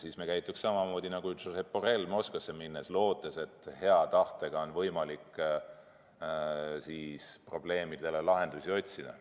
Siis me käituks samamoodi nagu Josep Borrell Moskvasse minnes ja lootes, et hea tahtega on võimalik probleemidele lahendusi otsida.